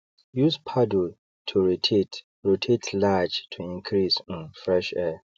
use paddle to rotate rotate large to increase um fresh air